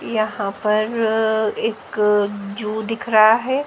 यहां पर एक जू दिख रहा है।